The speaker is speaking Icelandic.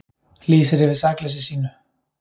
Lýsir yfir sakleysi sínu